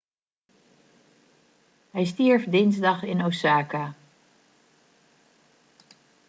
hij stierf dinsdag in osaka